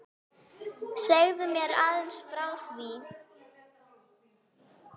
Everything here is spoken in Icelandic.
Segðu mér aðeins frá því?